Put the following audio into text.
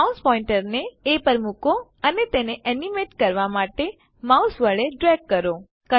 mouse પોઇન્ટરને એ પર મુકો અને તેને એનીમેટ કરવા માટે માઉસ વડે ડ્રેગ ખસેડવું કરો